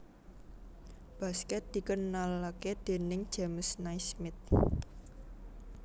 Baskèt dikenalké déning James Naismith